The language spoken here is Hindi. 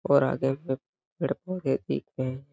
और आगे में बड़ पौधे देखते हैं।